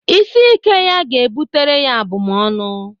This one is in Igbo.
Isi ike ya ga-bụtara ya abụmọnụ.